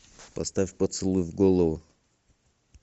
поставь поцелуй в голову